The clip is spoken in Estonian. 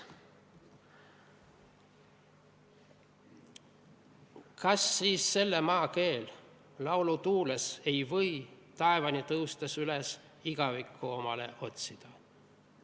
"Kas siis selle maa keel laulu tuules ei või taevani tõustes üles igavikku omale otsida?